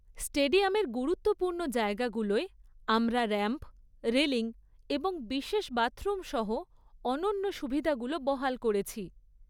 স্টেডিয়ামের গুরুত্বপূর্ণ জায়গাগুলোয় আমরা র‍্যাম্প, রেলিং এবং বিশেষ বাথরুম সহ অনন্য সুবিধাগুলো বহাল করেছি৷